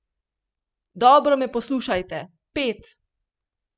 Dobro me poslušajte, pet!